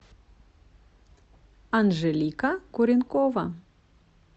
анжелика куренкова